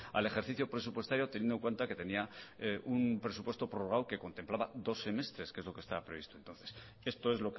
al ejercicio presupuestario teniendo en cuenta que tenía un presupuesto prorrogado que contemplaba dos semestres que es lo que estaba previsto entonces esto es